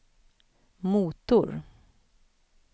motor